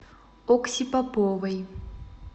окси поповой